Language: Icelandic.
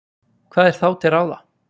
hvað er þá til ráða